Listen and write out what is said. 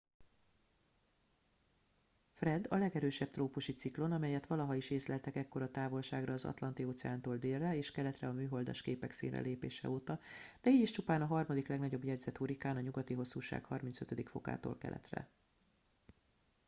fred” a legerősebb trópusi ciklon melyet valaha is észleltek ekkora távolságra az atlanti-óceántól délre és keletre a műholdas képek színre lépése óta de így is csupán a harmadik legnagyobb jegyzett hurrikán a nyugati hosszúság 35°-tól keletre